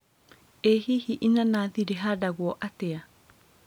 ĩ hihi inanathi rĩhandanguo atĩa